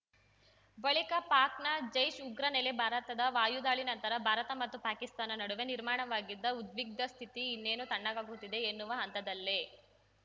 ಬಳಿಕ ಪಾಕ್‌ನ ಜೈಷ್‌ ಉಗ್ರ ನೆಲೆ ಭಾರತದ ವಾಯುದಾಳಿ ನಂತರ ಭಾರತ ಮತ್ತು ಪಾಕಿಸ್ತಾನ ನಡುವೆ ನಿರ್ಮಾಣವಾಗಿದ್ದ ಉದ್ವಿಗ್ನ ಸ್ಥಿತಿ ಇನ್ನೇನು ತಣ್ಣಗಾಗುತ್ತಿದೆ ಎನ್ನುವ ಹಂತದಲ್ಲೇ